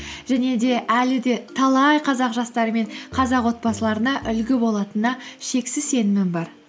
және де әлі де талай қазақ жастары мен қазақ отбасыларына үлгі болатынына шексіз сенімім бар